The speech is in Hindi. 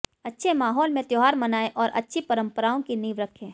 अच्छे माहौल में त्यौहार मनाएं और अच्छी परंपराओं की नींव रखें